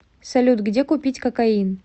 салют где купить кокаин